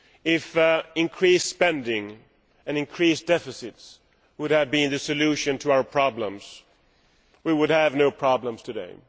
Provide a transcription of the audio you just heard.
If increased spending and increased deficits had been the solution to our problems we would have no problems today.